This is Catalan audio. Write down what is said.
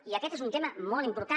i aquest és un tema molt important